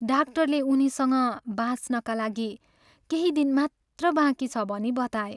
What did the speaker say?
डाक्टरले उनीसँग बाँच्नका लागि केही दिन मात्र बाँकी छ भनी बताए।